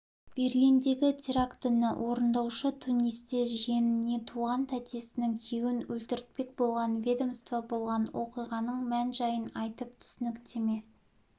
берлиндегі терактіні орындаушы тунисте жиеніне туған тәтесінің күйеуін өлтіртпек болған ведомство болған оқиғаның мән-жайын айтып түсініктеме